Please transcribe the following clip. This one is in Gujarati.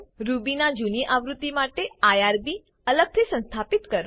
રૂબી ના જૂની આવૃત્તિ માટે આઇઆરબી અલગથી સંસ્થાપિત કરો